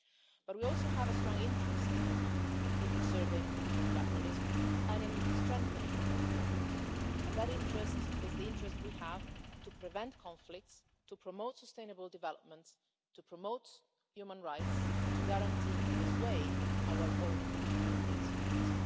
But we also have a strong interest in preserving multilateralism and in strengthening multilateralism namely, the interest that we have to prevent conflicts, to promote sustainable development, to promote human rights and to guarantee, in this way, our own European security.